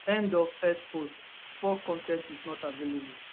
end of x post 4 con ten t is not available